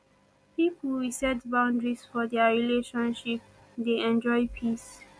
pipo we set boundaries for their relationship dey enjoy peace